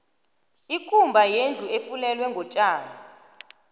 ikumba yindlu efulelwe ngotjani